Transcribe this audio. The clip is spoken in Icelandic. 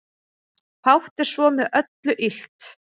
Fátt er svo með öllu illt